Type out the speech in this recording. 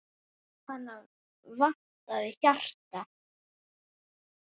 Hana vantaði hjarta.